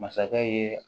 Masakɛ ye